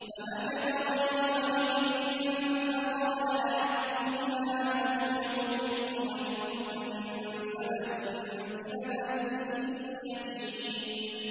فَمَكَثَ غَيْرَ بَعِيدٍ فَقَالَ أَحَطتُ بِمَا لَمْ تُحِطْ بِهِ وَجِئْتُكَ مِن سَبَإٍ بِنَبَإٍ يَقِينٍ